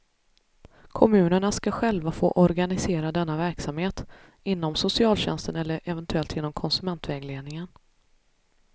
Kommunerna skall själva få organisera denna verksamhet, inom socialtjänsten eller eventuellt genom konsumentvägledningen.